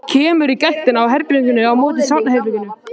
Kemur í gættina á herberginu á móti svefnherberginu.